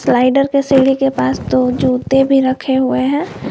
Rider के सीढ़ी के पास दो जूते भी रखे हुए हैं।